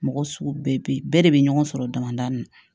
Mɔgɔ sugu bɛɛ bɛ yen bɛɛ de bɛ ɲɔgɔn sɔrɔ damadamanin na